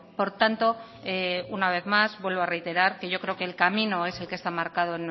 por tanto una vez más vuelvo a reiterar que yo creo que el camino es el que está marcado